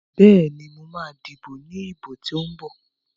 Bẹ́ẹ̀ni, mo ma díbò ní ìbò tó ń bọ̀